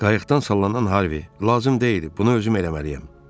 Qayıqdan sallanan Harvi: Lazım deyil, bunu özüm eləməliyəm.